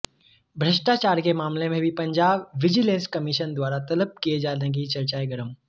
भ्रष्टाचार के मामले में भी पंजाब विजिलेंस कमिशन द्वारा तलब किए जाने की चर्चाएं गर्म